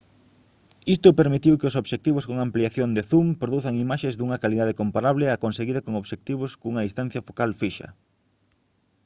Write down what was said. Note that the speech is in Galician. isto permitiu que os obxectivos con ampliación de zoom produzan imaxes dunha calidade comparable á conseguida con obxectivos cunha distancia focal fixa